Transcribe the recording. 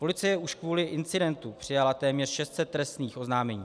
Policie už kvůli incidentu přijala téměř 600 trestních oznámení.